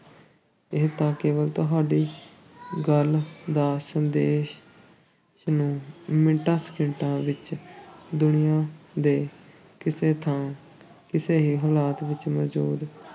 ਇਹ ਤਾਂ ਕੇਵਲ ਤੁਹਾਡੀ ਗੱਲ ਜਾਂ ਸੰਦੇਸ਼ ਨੂੰ ਮਿੰਟਾਂ-ਸਕਿੰਟਾਂ ਵਿੱਚ ਦੁਨੀਆ ਦੇ ਕਿਸੇ ਥਾਂ ਕਿਸੇ ਵੀ ਹਾਲਤ ਵਿੱਚ ਮੌਜੂਦ